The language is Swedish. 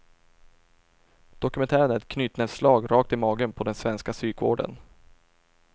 Dokumentären är ett knytnävsslag rakt i magen på den svenska psykvården.